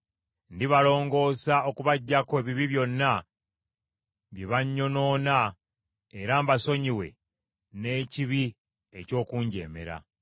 Ndibalongoosa okubaggyako ebibi byonna bye bannyonoona era mbasonyiwe n’ekibi eky’okunjeemera.